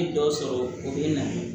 N ye dɔ sɔrɔ o bɛ na